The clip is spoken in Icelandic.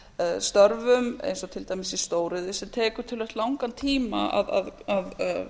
að störfum eins og til dæmis í stóriðju sem tekur töluvert langan tíma að